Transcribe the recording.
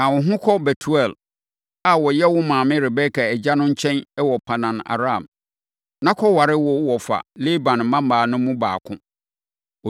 Ka wo ho kɔ Betuel a ɔyɛ wo maame Rebeka agya no nkyɛn wɔ Paddan-Aram, na kɔware wo wɔfa Laban mmammaa no mu baako.